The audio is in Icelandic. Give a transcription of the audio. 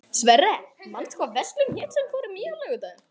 Sverre, manstu hvað verslunin hét sem við fórum í á laugardaginn?